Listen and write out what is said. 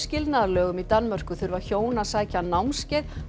skilnaðarlögum í Danmörku þurfa hjón að sækja námskeið